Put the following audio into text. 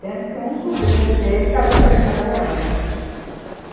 Tanto que um sobrinho dele casou com a irmã da minha mãe.